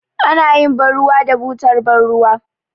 Anayin ban ruwa da butar ban ruwa